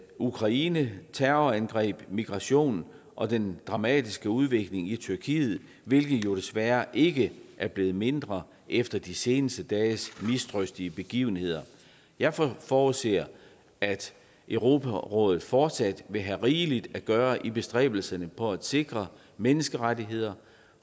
ukraine terrorangreb migration og den dramatiske udvikling i tyrkiet hvilket jo desværre ikke er blevet mindre efter de seneste dages mistrøstige begivenheder jeg forudser at europarådet fortsat vil have rigeligt at gøre i bestræbelserne på at sikre menneskerettigheder